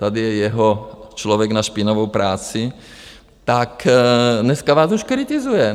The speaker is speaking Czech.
Tady je jeho člověk na špinavou práci, tak dneska vás už kritizuje.